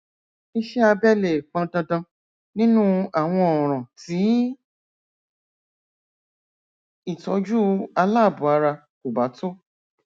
iṣẹ abẹ lè pọn dandan nínú àwọn ọràn tí ìtọjú aláàbọ ara kò bá tó